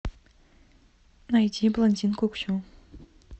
найди блондинку ксю